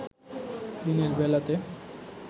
দিনের বেলাতে